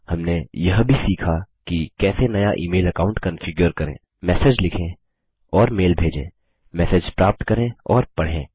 हमने यह भी सीखा कि कैसे नया ईमेल अकाऊंट कन्फिगर करें मैसेज लिखें और मेल भेजे मैसेज प्राप्त करें और पढ़ें